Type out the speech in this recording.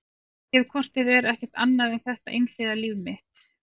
Ég hef hvort eð er ekkert annað en þetta einhliða líf mitt.